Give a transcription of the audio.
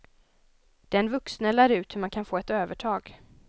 Den vuxne lär ut hur man kan få ett övertag.